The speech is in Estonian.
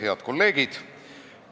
Head kolleegid!